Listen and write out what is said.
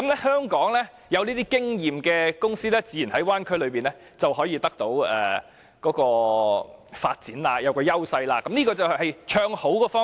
香港有經驗的公司自然在大灣區內會得到發展優勢，這是唱好的方面。